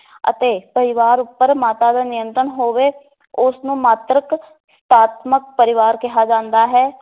ਅਤੇ ਪਰਿਵਾਰ ਉਪਰ ਮਾਤਾ ਦਾ ਨਿਯੰਤਰਣ ਹੋਵੇ, ਉਸ ਨੂੰ ਮਾਤ੍ਰਿਕ ਪਰਿਵਾਰ ਕਿਹਾ ਜਾਂਦਾ ਹੈ।